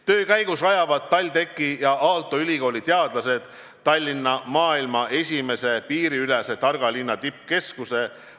Töö käigus rajavad TalTechi ja Aalto ülikooli teadlased Tallinna maailma esimese piiriülese targa linna tippkeskuse.